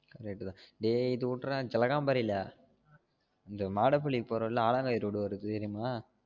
correct தான் டேயி இது உடுறா கிழகாம்பரில இந்த மாட புள்ளி போறோம் ல ஆளாங்கை road வருது தெரியுமா